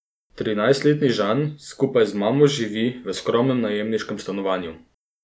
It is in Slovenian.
Trinajstletni Žan skupaj z mamo živi v skromnem najemniškem stanovanju.